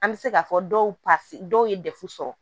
An bɛ se k'a fɔ dɔw dɔw ye dɛfu sɔrɔ